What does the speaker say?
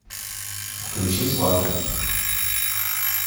включи сваты